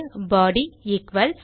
பாடி equals